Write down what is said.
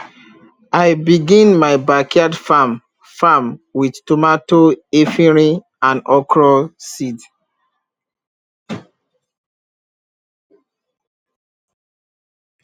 i begin my backyard farm farm with tomato efirin and okra seed